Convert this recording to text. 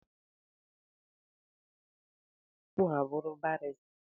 Ndị ọkàiwu na-agụ law skuul tupu ha abụrụ barịsta